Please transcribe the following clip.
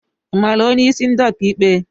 I mara onye isi ndi ọka ikpe?